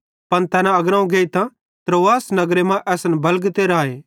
पन तैना अग्रोवं गेइतां त्रोआस नगरे मां असन बलगते राए